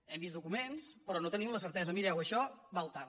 hem vist documents però no en tenim la certesa mireu això val tant